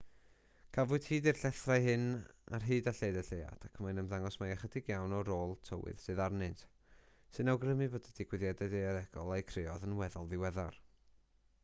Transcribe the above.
cafwyd hyd i'r llethrau hyn ar hyd a lled y lleuad ac mae'n ymddangos mai ychydig iawn o ôl tywydd sydd arnynt sy'n awgrymu bod y digwyddiadau daearegol a'u creodd yn weddol ddiweddar